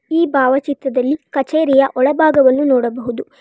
ಈ ಭಾವಚಿತ್ರದಲ್ಲಿ ಕಚೇರಿಯ ಒಳ ಭಾಗವನ್ನು ನೋಡಬಹುದು.